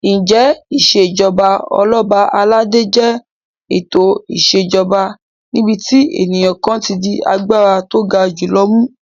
Ǹjẹ́ Ìṣèjọba Ọlọ́ba aládé jẹ́ ètò ìṣèjoba níbi tí ènìyàn kan ti di agbára tó ga jù lọ mú?